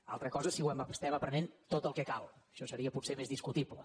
una altra cosa és si estem aprenent tot el que cal això seria potser més discutible